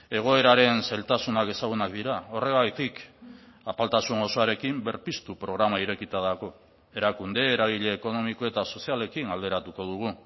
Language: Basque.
egoeraren zailtasunak ezagunak dira horregatik apaltasun osoarekin berpiztu programa irekita dago erakunde eragile ekonomiko eta sozialekin alderatuko dugu